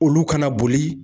Olu ka na boli